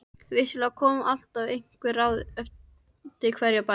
Vissulega komu alltaf einhver ráð eftir hverja bæn.